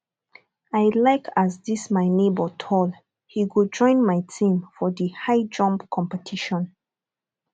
i like as this my nebor tall he go join my team for the high jump competition